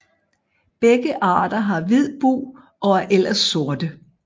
Begge arter har hvid bug og er ellers sorte